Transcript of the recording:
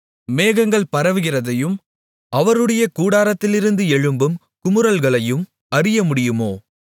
மேகங்கள் பரவுகிறதையும் அவருடைய கூடாரத்திலிருந்து எழும்பும் குமுறல்களையும் அறியமுடியுமோ